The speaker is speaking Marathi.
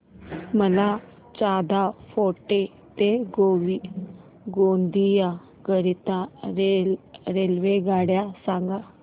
मला चांदा फोर्ट ते गोंदिया करीता रेल्वेगाडी सांगा